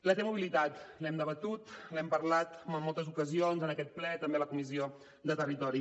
la t mobilitat l’hem debatut l’hem parlat en moltes ocasions en aquest ple també a la comissió de territori